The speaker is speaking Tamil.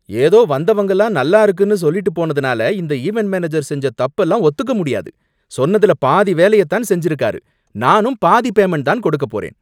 ஏதோ வந்தவங்கெல்லாம் நல்லா இருக்குன்னு சொல்லிட்டு போனதுனால, இந்த ஈவென்ட் மேனேஜர் செஞ்ச தப்பெல்லாம் ஒத்துக்க முடியாது. சொன்னதுல பாதி வேலைய தான் செஞ்சிருக்காரு. நானும் பாதி பேமென்ட் தான் கொடுக்கப் போறேன்.